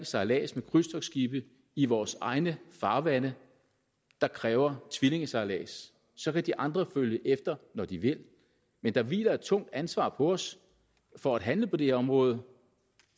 sejlads med krydstogtsskibe i vores egne farvande der kræver tvillingesejlads så kan de andre følge efter når de vil men der hviler et tungt ansvar på os for at handle på det her område